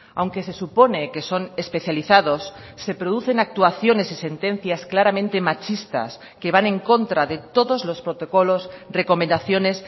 aunque se supone que son especializados se producen actuaciones y sentencias claramente machistas que van en contra de todos los protocolos recomendaciones